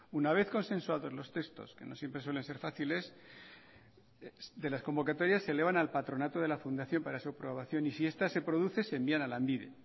una vez consensuados los textos que no siempre suelen ser fáciles de las convocatorias se elevan al patronato de la fundación para su aprobación y si esta se produce se envían a lanbide